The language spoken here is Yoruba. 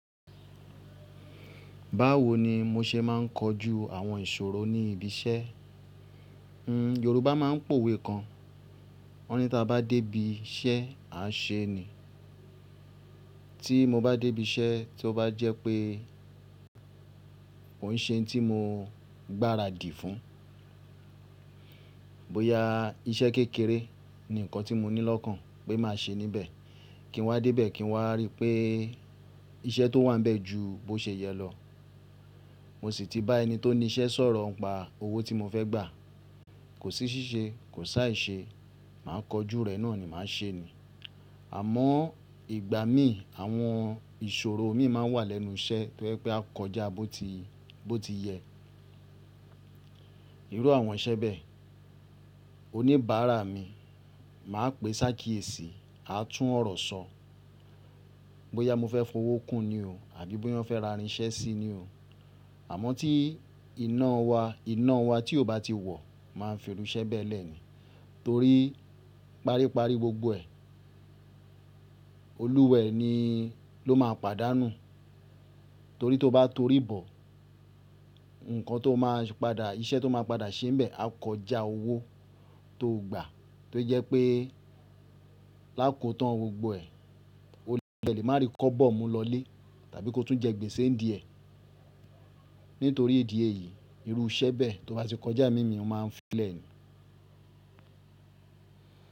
Báwo ni mo se máa ń kojú àwọn ìṣòro ní ibi iṣẹ́? Yorùbá máa ń pòwe kan, wọ́n ní tí a bá dé ibi iṣẹ́, a ṣe ni. Tí mo bá dé ibi iṣẹ́ tí ó bá jẹ́ pé òun ṣe ohun tí mo gbáradì fún, bóyá iṣẹ́ kékeré ni nǹkan tí mo ní lọ́kàn pé má ṣe níbẹ̀, kí n wá dé ibẹ̀ kí n wá rí pé iṣẹ́ tó wà níbẹ̀ ju bó ṣe yẹ lọ. Mo sì ti bá ẹni tó ní iṣẹ́ sọ̀rọ̀ pa owó tí mo fẹ́ gbà. Kò sí ṣíṣe, kò sá èṣe, màá kojú rẹ̀ náà ni, màá ṣe ni. Àmọ́ ìgbà mí, àwọn ìṣòro mi máa wà lẹ́nu iṣẹ́ tí ó jẹ́ pé a kọjá bó ti yẹ. Irú àwọn iṣẹ́ bẹ́ẹ̀, oníbàárà mi, màá pè sáà kíyèsi, a tún ọ̀rọ̀ sọ. Bóyá mo fẹ́ fowó kún ni oò àbí bóyá fẹ́ ra irinṣẹ́ sí ní oò. Àmọ́ tí iná wa, iná wa tí ò bá ti wọ̀ máa ń fi irú iṣẹ́ bẹ́ẹ̀ lẹ̀ ni. Torí pari pari gbogbo ẹ̀, olúwẹ ni ló máa pàdánù. Torí tí o bá torí bọ̀, nǹkan tó máa padà, iṣẹ́ tó máa padà ṣe níbẹ̀ á kọjá owó tó gbà tó jẹ́ pé lákòó tán gbogbo ẹ̀, ó lè má rí kọ́bọ̀ mú lọlé tàbí kó tún jẹ gbèsè ń diẹ̀. Nítorí ìdí èyí, irú iṣẹ́ bẹ́ẹ̀ tí ó bá ti kọjá mímì, ó máa ń fi lẹ̀ ni.